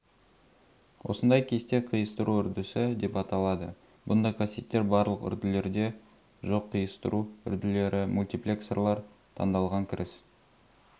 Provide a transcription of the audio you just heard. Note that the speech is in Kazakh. осындай кесте қиыстыру үрдісі деп аталады бұндай қасиеттер барлық үрділерде жоқ қиыстыру үрділері мультиплексорлар таңдалған кіріс